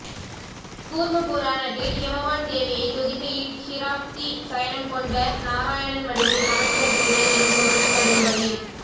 கூர்ம புராணத்தில் ஹிமவான் தேவியை துதிக்கையில் க்ஷீராப்தி சயனம் கொண்ட நாராயணன் வடிவை நமஸ்கரிக்கிறேன் எனும் பொருள்படும்படி